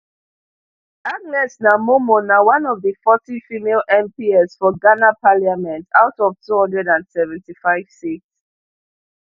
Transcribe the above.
agnes naa momo na one of di forty female mps for ghana parliament out of two hundred and seventy-five seats